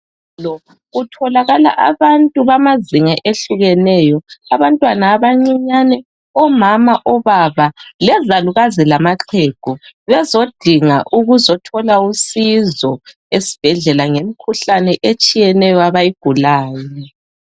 Kutholakala abantu bamazinga ehlukeneyo abantwana abancinyane, omama, obaba, lezalukazi lamaxhegu bezodinga ukuzothola usizo esibhedlela ngemikhuhlane etshiyeneyo abayigulayo.